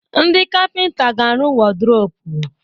Ndị kapịnta ga-arụ wọrdrọpu.